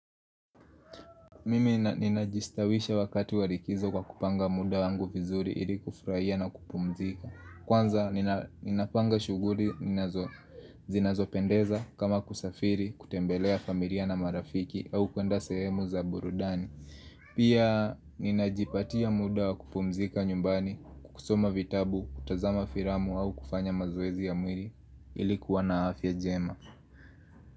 Mimi ninajistawisha wakati walikizo kwa kupanga muda wangu vizuri ili kufraia na kupumzika Kwanza ninapanga shuguri zinazopendeza kama kusafiri kutembelea familia na marafiki au kuenda sehemu za burudani Pia ninajipatia muda wakupumzika nyumbani kusoma vitabu kutazama firamu au kufanya mazoezi ya mwiri ilikuwa na afya jema.